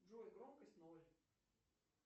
джой громкость ноль